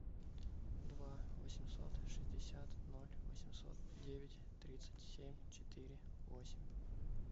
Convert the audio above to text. два восемьсот шестьдесят ноль восемьсот девять тридцать семь четыре восемь